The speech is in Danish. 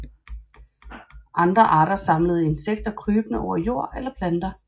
Andre arter samler insekter krybende over jord eller planter